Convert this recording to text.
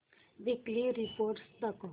weekly report दाखव